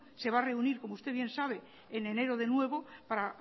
se va a reunir como usted bien sabe en enero de nuevo para